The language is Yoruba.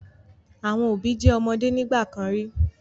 Àwọn òbí jẹ́ ọmọde nígbà kan rí.